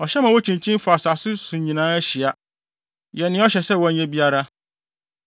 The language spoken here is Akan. Ɔhyɛ ma wokyinkyin fa asase so nyinaa hyia yɛ nea ɔhyɛ sɛ wɔnyɛ biara.